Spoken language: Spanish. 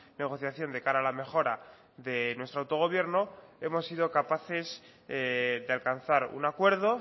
negociación de cara a la mejora de nuestro autogobierno hemos sido capaces de alcanzar un acuerdo